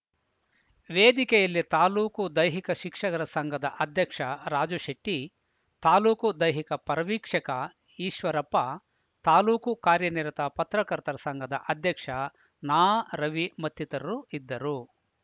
ವೇದಿಕೆಯಲ್ಲಿ ತಾಲೂಕು ದೈಹಿಕ ಶಿಕ್ಷಗರ ಸಂಘದ ಅಧ್ಯಕ್ಷ ರಾಜು ಶೆಟ್ಟಿ ತಾಲೂಕು ದೈಹಿಕ ಪರಿವೀಕ್ಷಕ ಈಶ್ವರಪ್ಪ ತಾಲೂಕು ಕಾರ್ಯನಿರತ ಪತ್ರಕರ್ತರ ಸಂಘದ ಅಧ್ಯಕ್ಷ ನಾರವಿ ಮತ್ತಿತರರು ಇದ್ದರು